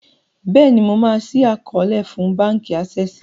béèni ma ṣii àkọọlẹ fún ní bánkì Access.